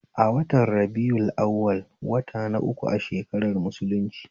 A watan rabi'u awwal wata na uku a shakarar musulunci